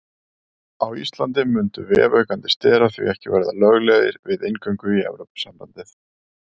Á Íslandi mundu vefaukandi sterar því ekki verða löglegir við inngöngu í Evrópusambandið.